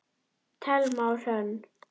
Thelma og Hrönn.